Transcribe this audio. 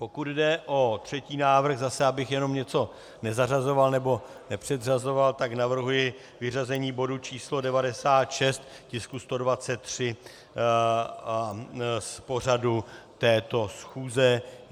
Pokud jde o třetí návrh, zase abych jenom něco nezařazoval nebo nepředřazoval, tak navrhuji vyřazení bodu číslo 96, tisku 123, z pořadu této schůze.